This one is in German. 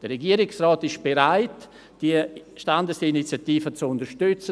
Der Regierungsrat ist bereit, die Standesinitiative zu unterstützen.